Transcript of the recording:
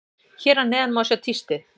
Hér að neðan má sjá tístið.